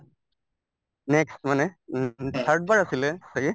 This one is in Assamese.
next মানে উম third বাৰ আছিলে ছাগে